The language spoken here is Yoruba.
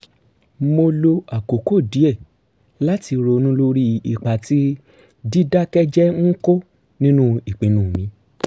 mo lo àkókò díẹ̀ láti ronú lórí ipa tí dídákẹ́ jẹ́ẹ́ ń kó nínú ìpinnu mi